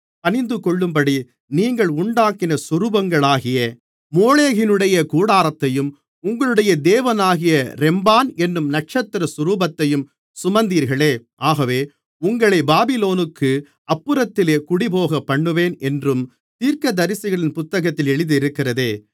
பணிந்துகொள்ளும்படி நீங்கள் உண்டாக்கின சொரூபங்களாகிய மோளோகினுடைய கூடாரத்தையும் உங்களுடைய தேவனாகிய ரெம்பான் என்னும் நட்சத்திர சொரூபத்தையும் சுமந்தீர்களே ஆகவே உங்களைப் பாபிலோனுக்கு அப்புறத்திலே குடிபோகப்பண்ணுவேன் என்றும் தீர்க்கதரிசிகளின் புத்தகத்தில் எழுதியிருக்கிறதே